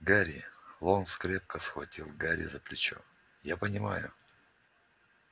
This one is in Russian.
гарри локонс крепко схватил гарри за плечо я понимаю